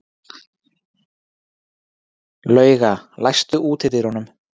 Lauga, læstu útidyrunum.